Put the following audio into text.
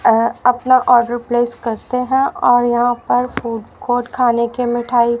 अ अपना order place करते हैं और यहां पर फूड कोर्ट खाने के मिठाई--